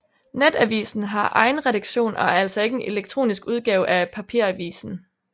Netavisen har egen redaktion og er altså ikke en elektronisk udgave af papiravisen